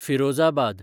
Firozabad